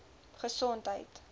gesondheid